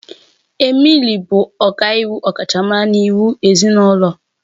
Emily bụ ọkàiwu ọkachamara na iwu ezinụlọ.